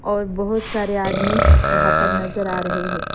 और बहुत सारे आदमी वहा पर नज़र आरहे है।